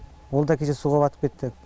ол да кеше суға батып кетті